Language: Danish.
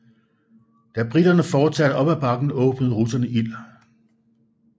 Da briterne fortsatte op ad bakken åbnede russerne ild